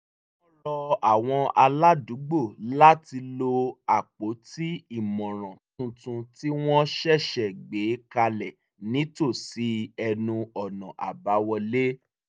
wọ́n rọ àwọn aládùúgbò láti lo àpótí ìmọ̀ràn tuntun tí wọ́n ṣẹ̀ṣẹ̀ gbé kalẹ̀ nítòsí ẹnu ọ̀nà àbáwọlé